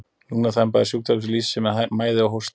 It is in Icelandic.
Lungnaþemba er sjúkdómur sem lýsir sér með mæði og hósta.